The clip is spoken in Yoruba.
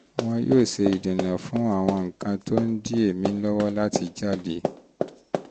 wọn yóò ṣe ìdènà fún ṣe ìdènà fún àwọn nǹkan tó ń di èémí lọ́wọ́ láti jáde